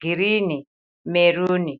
girini meruni.